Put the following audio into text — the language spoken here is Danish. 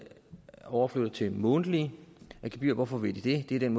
overflyttet til månedlige gebyrer hvorfor vil de det det er den